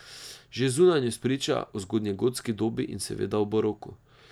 Že zunanjost priča o zgodnjegotski dobi in seveda o baroku.